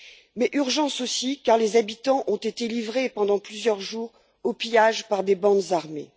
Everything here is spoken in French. Mais urgence aussi car les habitants ont été livrés pendant plusieurs jours au pillage par des bandes armées.